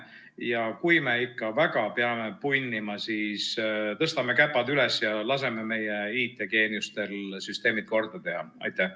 Ja kui me ikka väga peame punnima, siis tõstame käpad üles ja laseme meie IT-geeniustel süsteemid korda teha.